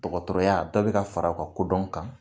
Dɔkɔtɔrɔya dɔ bi ka fara u ka kodɔn kan